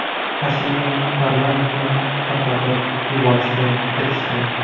Pashinyan parlamentni tarqatib yuborishga erishdi.